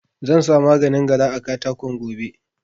Zansa maganin gara a katakon gobe